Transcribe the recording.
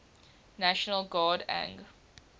national guard ang